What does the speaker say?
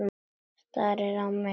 Starir á mig.